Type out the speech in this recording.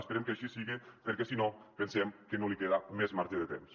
espe·rem que així siga perquè si no pensem que no li queda més marge de temps